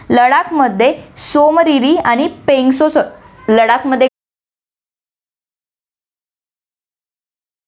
लडाकमध्ये सोमदेवी आणि पँगॉन्ग त्सो